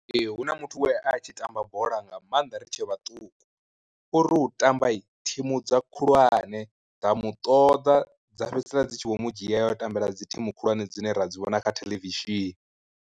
Ee hu na muthu we a tshi tamba bola nga maanḓa ri tshe vhaṱuku, ori u tamba thimu dza khulwane dza mu ṱoḓa dza fhedzisela dzi tshi vho mu dzhia ya u tambela dzi thimu khulwane dzine ra dzi vhona kha theḽevishini.